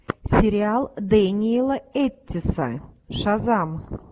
сериал дэниэла эттиса шазам